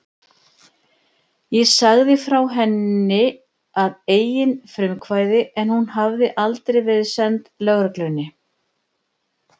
Ég sagði frá henni að eigin frumkvæði en hún hafði aldrei verið send lögreglunni.